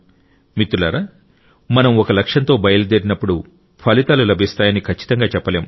మిత్రులారా మనం ఒక లక్ష్యంతో బయలుదేరినప్పుడు ఫలితాలు లభిస్తాయని ఖచ్చితంగా చెప్పలేం